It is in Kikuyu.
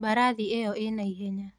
Mbarathi ĩyo ĩna ihenya.